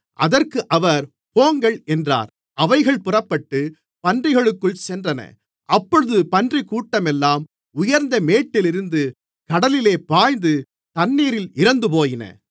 அதற்கு அவர் போங்கள் என்றார் அவைகள் புறப்பட்டு பன்றிகளுக்குள் சென்றன அப்பொழுது பன்றிக்கூட்டமெல்லாம் உயர்ந்த மேட்டிலிருந்து கடலிலே பாய்ந்து தண்ணீரில் இறந்துபோயின